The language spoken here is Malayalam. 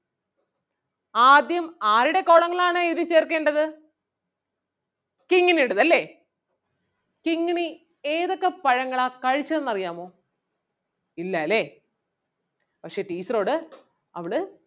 ആദ്യം ആരുടെ column ങ്ങൾ ആണ് എഴുതി ചേർക്കേണ്ടത് കിങ്ങിണിയുടേത് അല്ലേ കിങ്ങിണി ഏതൊക്കെ പഴങ്ങളാ കഴിച്ചതെന്ന് അറിയാമോ ഇല്ലാല്ലേ പക്ഷേ teacher ഓട് അവള്